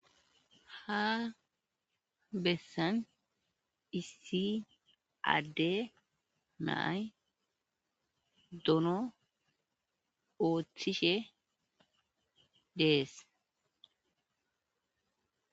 ha bessan issi adde nay dono ooththishe dees